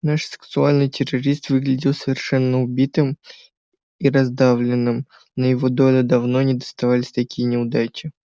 наш сексуальный террорист выглядел совершенно убитым и раздавленным на его долю давно не доставались такие неудачи